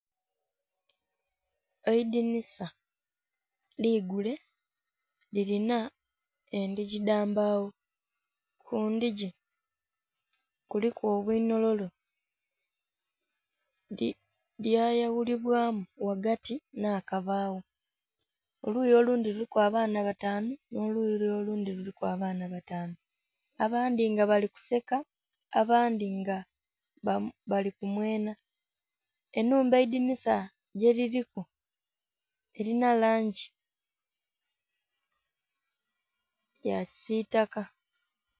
Eidinisa ligule, lilina endhigi dha mbagho. Ku ndhigi kuliku obunhololo, lyayaghulibwaamu ghagati nh'akabagho. Oluyi olundhi luliku abaana bataanu, nh'oluyi lule olundhi kuliku abaana bataanu, abandhi nga bali kuseka, abandhi nga bali kumwenha. Ennhumba eidinisa gyeliliku, elinha langi ya kisiitaka.